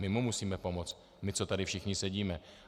My mu musíme pomoct, my, co tady všichni sedíme.